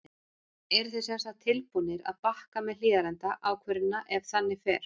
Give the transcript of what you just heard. Eruð þið semsagt tilbúnir að bakka með Hlíðarenda ákvörðunina ef þannig fer?